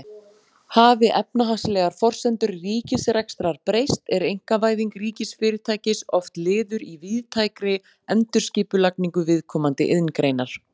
Hafi efnahagslegar forsendur ríkisrekstrar breyst er einkavæðing ríkisfyrirtækis oft liður í víðtækri endurskipulagningu viðkomandi iðngreinar.